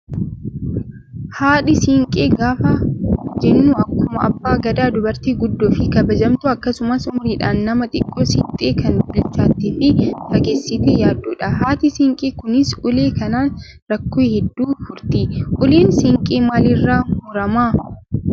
Haadha siinqee gaafa jennu akkuma abbaa gadaa dubartii guddoo fi kabajamtuu akkasumas umriidhan nama xiqqoo siqxe kan bilchaattee fi fageessitee yaaddudha. Haati siinqee kunis ulee kanaan rakkoo hedduu furti. Uleen siinqee maalirraa muramaa?